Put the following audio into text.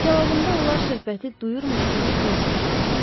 Cavabında onlar söhbəti duyurmuş kimi gülümsədilər.